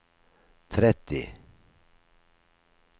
tretti